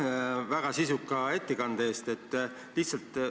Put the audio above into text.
Aitäh väga sisuka ettekande eest!